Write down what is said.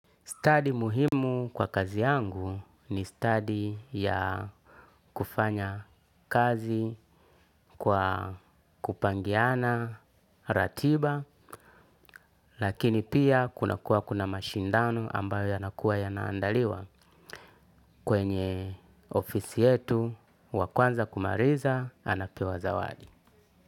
Study muhimu kwa kazi yangu ni study ya kufanya kazi kwa kupangiana ratiba lakini pia kunakuwa kuna mashindano ambayo yanakuwa yanaandaliwa kwenye ofisi yetu wa kwanza kumaliza anapewa zawadi.